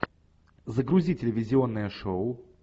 загрузи телевизионное шоу